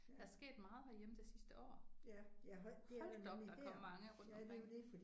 Der er sket meget herhjemme det sidste år. Hold da op der er kommet mange rundtomkring